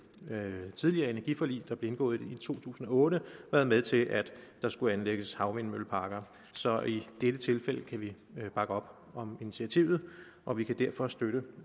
tidligere energiforlig der blev indgået i to tusind og otte været med til at der skulle anlægges havvindmølleparker så i dette tilfælde kan vi bakke op om initiativet og vi kan derfor støtte